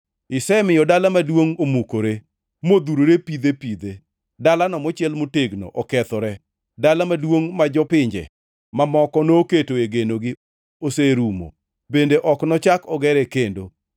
Isemiyo dala maduongʼ omukore, modhurore pidhe pidhe, dalano mochiel motegno okethore, dala maduongʼ ma jopinje mamoko noketoe genogi oserumo; bende ok nochak ogere kendo.